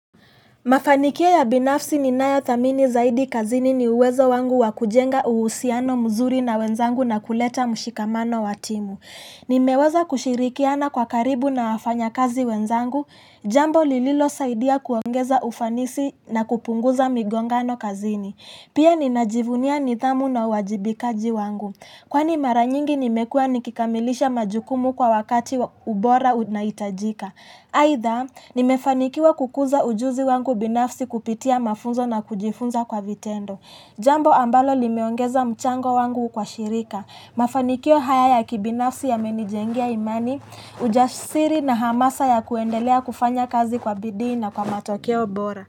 Mafanikio ya binafsi ninayothamini zaidi kazini ni uwezo wangu wa kujenga uhusiano mzuri na wenzangu na kuleta mshikamano wa timu. Nimeweza kushirikiana kwa karibu na wafanyakazi wenzangu, jambo lililosaidia kuongeza ufanisi na kupunguza migongano kazini. Pia ninajivunia nidhamu na uwajibikaji wangu. Kwani mara nyingi nimekuwa nikikamilisha majukumu kwa wakati ubora unahitajika. Aidha, nimefanikiwa kukuza ujuzi wangu binafsi kupitia mafunzo na kujifunza kwa vitendo. Jambo ambalo limeongeza mchango wangu kwa shirika. Mafanikio haya ya kibinafsi yamenijengea imani, ujasiri na hamasa ya kuendelea kufanya kazi kwa bidii na kwa matokeo bora.